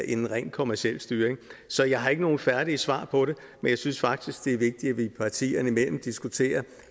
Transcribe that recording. en rent kommerciel styring så jeg har ikke nogen færdige svar på det men jeg synes faktisk det er vigtigt at vi partierne imellem diskuterer